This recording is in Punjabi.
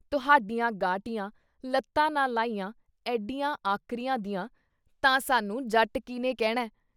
ਤੁਹਾਡੀਆਂ ਗਾਟੀਆਂ, ਲੱਤਾਂ ਨਾ ਲਾਹੀਆਂ ਐਡੀਆਂ ਆਕਰੀਆਂ ਦੀਆਂ ਤਾਂ ਸਾਨੂੰ ਜੱਟ ਕੀਹਨੇ ਕਹਿਣਾ?